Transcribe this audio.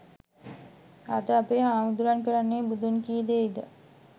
අද අපේ හාමුදුරුවන් කරන්නේ බුදුන් කී දෙයද?